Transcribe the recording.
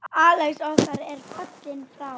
Axel okkar er fallinn frá.